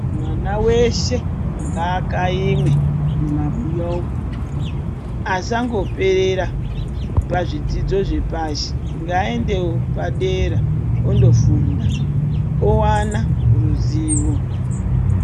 Mwana weshe ngaakaimwe mumabuya umu ,asangoperera pazvidzidzo zvepashi .Ngaendewo padera ondofunda owana ruzivo.